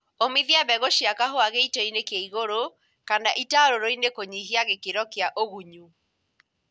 Ũmithia mbegũ cia kahũa gĩito kĩ igũru kana itarũrũinĩ kũnyihia gĩkĩro kĩa ũgunyu